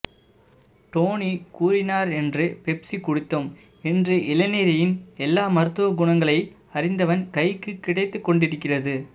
டோனி கூறினார் என்று பெப்சி குடித்தோம் இன்று இளநீரின் எல்லாம் மருத்துவகுணங்களை அறிந்தவன் கைக்கு கிடைத்துக்கொண்டிருக்கிறது